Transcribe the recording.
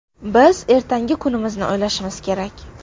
Biz ertangi kunimizni o‘ylashimiz kerak.